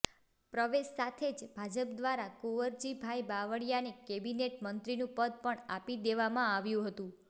પ્રવેશ સાથે જ ભાજપદ્વારા કુંવરજીભાઈ બાવળીયાને કેબિનેટ મંત્રીનું પદ પણ આપી દેવામાં આવ્યું હતું